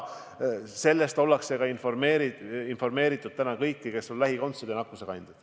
Sellest on informeeritud täna kõiki, kes on nakkusekandjad ja nende lähikondsed.